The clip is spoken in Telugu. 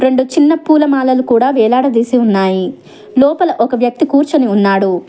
రెండు చిన్న పూల మాలలు కూడా వేలాడదీసి ఉన్నాయి లోపల ఒక వ్యక్తి కూర్చొని ఉన్నాడు.